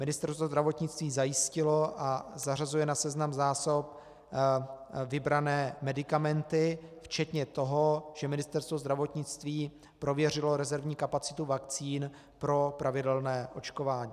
Ministerstvo zdravotnictví zajistilo a zařazuje na seznam zásob vybrané medikamenty včetně toho, že Ministerstvo zdravotnictví prověřilo rezervní kapacitu vakcín pro pravidelné očkování.